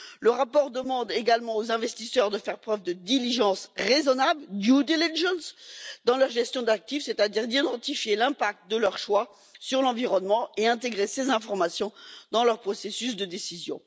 Le rapport demande également aux investisseurs de faire preuve de diligence raisonnable dans leur gestion d'actifs, c'est à dire d'identifier l'impact de leurs choix sur l'environnement et d'intégrer ces informations dans leur processus de décision.